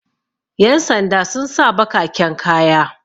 yansanda sun sa bakaken kaya